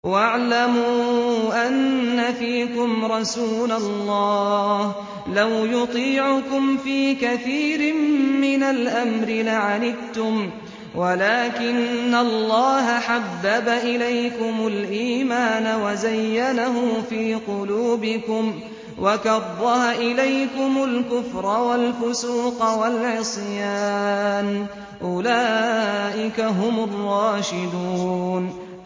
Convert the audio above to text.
وَاعْلَمُوا أَنَّ فِيكُمْ رَسُولَ اللَّهِ ۚ لَوْ يُطِيعُكُمْ فِي كَثِيرٍ مِّنَ الْأَمْرِ لَعَنِتُّمْ وَلَٰكِنَّ اللَّهَ حَبَّبَ إِلَيْكُمُ الْإِيمَانَ وَزَيَّنَهُ فِي قُلُوبِكُمْ وَكَرَّهَ إِلَيْكُمُ الْكُفْرَ وَالْفُسُوقَ وَالْعِصْيَانَ ۚ أُولَٰئِكَ هُمُ الرَّاشِدُونَ